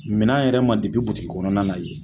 Minan yɛrɛ ma butiki kɔnɔna na yen.